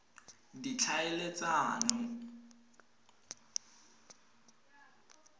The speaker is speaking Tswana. ditlhaeletsano